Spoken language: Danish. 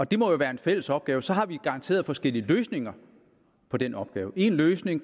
det må jo være en fælles opgave så har vi garanteret forskellige løsninger på den opgave en løsning